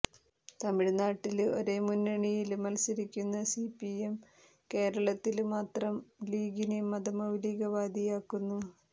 തമിഴ്നാട്ടില് ഒരേ മുന്നണിയില് മല്സരിക്കുന്ന സിപിഎം കേരളത്തില് മാത്രം ലീഗിനെ മതമൌലികവാദിയാക്കുന്നു